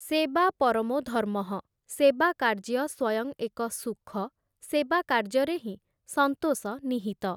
ସେବା ପରମୋ ଧର୍ମଃ' ସେବାକାର୍ଯ୍ୟ ସ୍ୱୟଂ ଏକ ସୁଖ, ସେବାକାର୍ଯ୍ୟରେ ହିଁ ସନ୍ତୋଷ ନିହିତ ।